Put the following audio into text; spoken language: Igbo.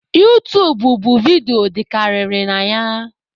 Utuub bụ vidiyo dịkarịrị na ya